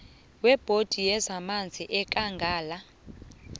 webhodi yezamanzi yekangala